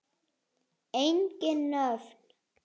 Engin nöfn.